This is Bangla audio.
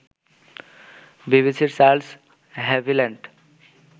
বিবিসির চার্লস হ্যাভিল্যান্ড